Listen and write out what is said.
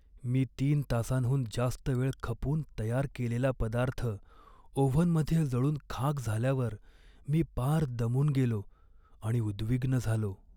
मी तीन तासांहून जास्त वेळ खपून तयार केलेला पदार्थ ओव्हनमध्ये जळून खाक झाल्यावर मी पार दमून गेलो आणि उद्विग्न झालो.